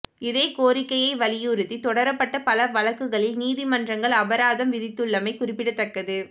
இதே கோரிக்கையை வலியுறுத்தி தொடரப்பட்ட பல வழக்குகளில் நீதிமன்றங்கள் அபராதம் விதித்துள்ளமை குறிப்பிடத்தக்கது